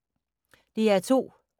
DR2